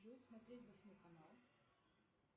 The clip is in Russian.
джой смотреть восьмой канал